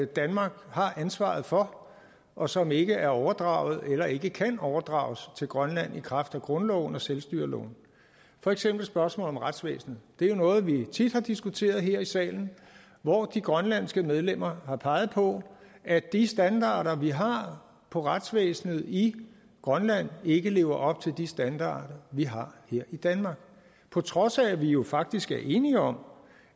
danmark har ansvaret for og som ikke er overdraget eller ikke kan overdrages til grønland i kraft af grundloven og selvstyreloven for eksempel spørgsmålet om retsvæsenet det er noget vi tit har diskuteret her i salen og hvor de grønlandske medlemmer har peget på at de standarder vi har for retsvæsenet i grønland ikke lever op til de standarder vi har her i danmark på trods af at vi jo faktisk er enige om